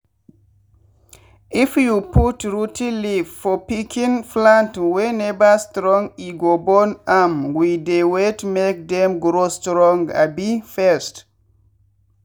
if you put rot ten leaf for pikin plant wey never strong e go burn am we dey wait make dem grow strong abi first.